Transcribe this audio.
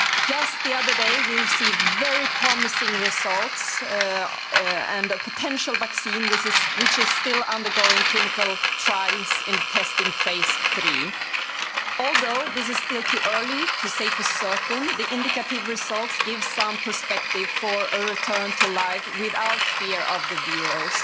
Just the other day we received very promising results on a potential vaccine which is still undergoing clinical trials in testing phase 3. Although it is still too early to say for certain, the indicative results give some perspective for a return to life without fear of the virus.